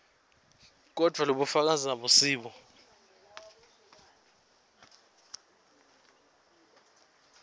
kodvwa lobufakazi abusibo